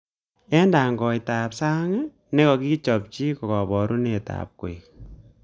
Eng tangoitab sang nekokichobchi kaborunet ab koik